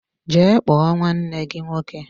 Jee kpọọ nwanne gị nwoke!